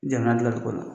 Jamana dilancogo la